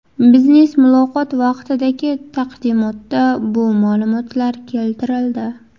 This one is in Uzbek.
Biznes muloqot vaqtidagi taqdimotda bu ma’lumotlar keltirildi.